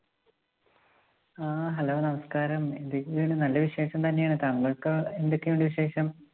ഹാ, Hello നമസ്കാരം, എന്തൊക്കെയുണ്ട്? നല്ല വിശേഷം തന്നെയാണ്. താങ്കള്‍ക്കോ എന്തൊക്കെയുണ്ട് വിശേഷം?